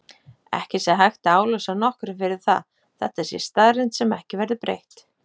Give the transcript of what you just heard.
Ekki sé hægt að álasa nokkrum fyrir það, þetta sé staðreynd sem ekki verði breytt.